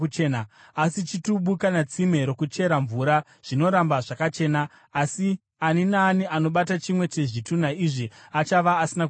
Asi chitubu, kana tsime rokuchera mvura zvinoramba zvakachena, asi ani naani anobata chimwe chezvitunha izvi achava asina kuchena.